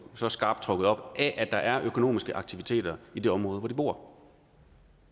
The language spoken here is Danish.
så skarpt op af at der er økonomiske aktiviteter i det område hvor de bor